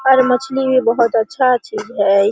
और मछली भी बहोत अच्छा चीज है।